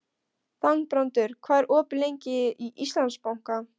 Þangbrandur, hvað er opið lengi í Íslandsbanka?